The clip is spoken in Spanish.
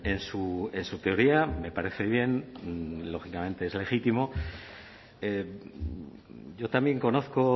en su teoría me parece bien lógicamente es legítimo yo también conozco